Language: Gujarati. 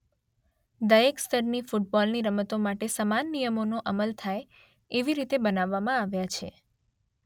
દરેક સ્તરની ફુટબોલની રમતો માટે સમાન નિયમોનો અમલ થાય એવી રીતે બનાવવામાં આવ્યા છે.